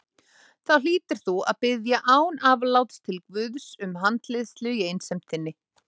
Þá hlýtur þú að biðja án afláts til guðs um handleiðslu í einsemd þinni